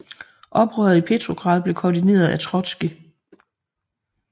Oprøret i Petrograd blev koordineret af Trotskij